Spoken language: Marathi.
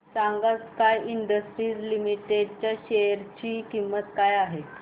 सांगा स्काय इंडस्ट्रीज लिमिटेड च्या शेअर ची किंमत काय आहे